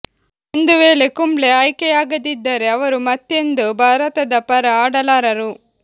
ಒಂದು ವೇಳೆ ಕುಂಬ್ಳೆ ಆಯ್ಕೆಯಾಗದಿದ್ದರೆ ಅವರು ಮತ್ತೆಂದೂ ಭಾರತದ ಪರ ಆಡಲಾರರು